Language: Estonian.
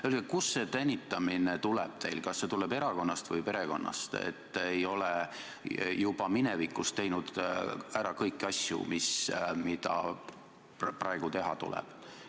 Öelge, kust see tänitamine teil tuleb, kas see tuleb erakonnast või perekonnast, et ei ole juba minevikus teinud ära kõiki asju, mida praegu teha tuleb.